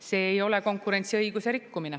See ei ole konkurentsiõiguse rikkumine.